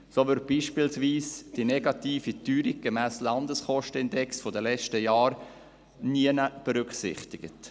So wird beispielsweise die negative Teuerung gemäss Landeskostenindex der letzten Jahre nirgends berücksichtigt.